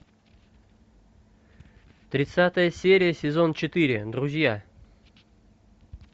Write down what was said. тридцатая серия сезон четыре друзья